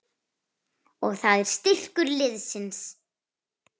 Og það er styrkur liðsins